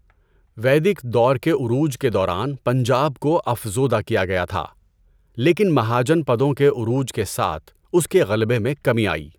ویدک دور کے عروج کے دوران پنجاب کو افزودہ کیا گیا تھا، لیکن مہاجن پدوں کے عروج کے ساتھ اس کے غلبہ میں کمی آئی۔